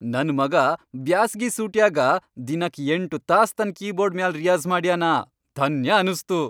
ನನ್ ಮಗಾ ಬ್ಯಾಸಗಿ ಸೂಟ್ಯಾಗ ದಿನಕ್ ಎಂಟು ತಾಸ್ ತನ್ ಕೀಬೋರ್ಡ್ ಮ್ಯಾಲ್ ರಿಯಾಜ಼್ ಮಾಡ್ಯಾನ, ಧನ್ಯ ಅನಸ್ತು.